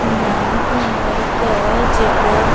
इंहा घुमई क जगह --